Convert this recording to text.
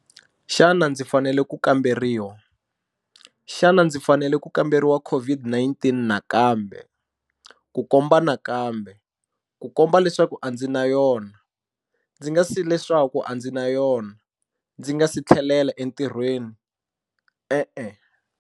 Xana ndzi fanele ku kamberiwa. Xana ndzi fanele ku kamberiwa COVID-19 nakambe, ku komba nakambe, ku komba leswaku a ndzi na yona, ndzi nga si leswaku a ndzi na yona, ndzi nga si tlhelela entirhweni? E-e.